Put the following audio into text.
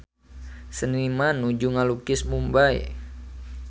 Seniman nuju ngalukis Mumbay